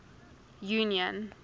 union